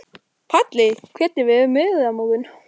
Palli, hvernig verður veðrið á morgun?